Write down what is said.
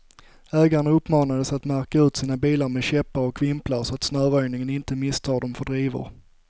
Ägarna uppmanades att märka ut sina bilar med käppar och vimplar, så att snöröjningen inte misstar dem för drivor.